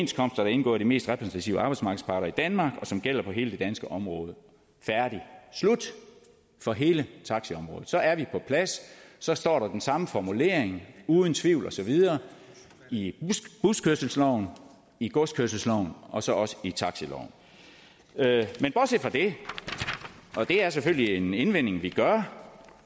der er indgået af de mest repræsentative arbejdsmarkedsparter i danmark og som gælder på hele det danske område færdig slut for hele taxiområdet så er vi på plads så står der den samme formulering uden tvivl og så videre i buskørselsloven i godskørselsloven og så også i taxiloven men bortset fra det og det er selvfølgelig en indvending vi gør